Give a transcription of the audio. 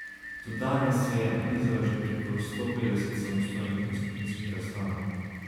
Do danes je nanizal že preko sto petdeset samostojnih in skupinskih razstav.